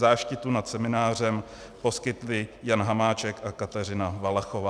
Záštitu nad seminářem poskytli Jan Hamáček a Kateřina Valachová.